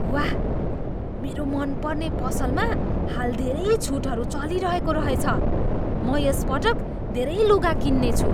वाह! मेरो मनपर्ने पसलमा हाल धेरै छुटहरू चलिरहेको रहेछ। म यस पटक धेरै लुगा किन्नेछु।